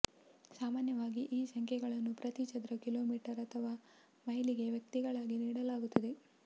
ಸಾಮಾನ್ಯವಾಗಿ ಈ ಸಂಖ್ಯೆಗಳನ್ನು ಪ್ರತಿ ಚದರ ಕಿಲೋಮೀಟರ್ ಅಥವಾ ಮೈಲಿಗೆ ವ್ಯಕ್ತಿಗಳಾಗಿ ನೀಡಲಾಗುತ್ತದೆ